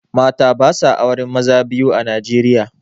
Mata basa auren maza biyu a Nijeriya